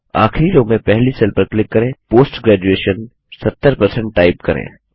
आखिरी रो में पहली सेल पर क्लिक करें पोस्ट graduation जीटीव्राइट 70 टाइप करें